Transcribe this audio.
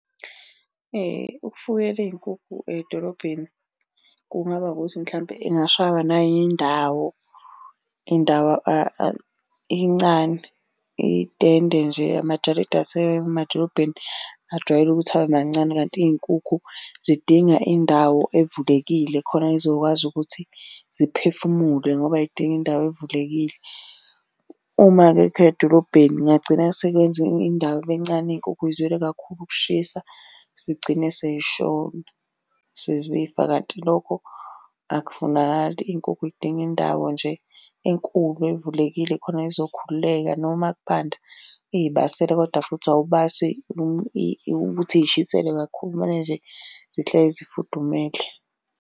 Ukufuyela iy'nkukhu edolobheni kungaba ukuthi mhlampe ingashaywa nayi ndawo. Indawo incane, iy'tende nje amajaridi asemadolobheni ajwayele ukuthi abe mancane kanti iy'nkukhu zidinga indawo evulekile khona y'zokwazi ukuthi ziphefumule ngoba y'dinga indawo evulekile. Uma-ke akha edolobheni kungagcina sekwenza indawo ibe ncane iy'nkukhu y'zwele kakhulu ukushisa zigcine sey'shona. Sezifa, kanti lokho akufunakali, iy'nkukhu y'dinga indawo nje enkulu evulekile khona y'zokhululeka noma kubanda uy'basele kodwa futhi awubasi ukuthi y'shiselwe kakhulu, kumele nje zihlezi zifudumele.